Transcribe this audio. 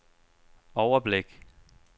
overblik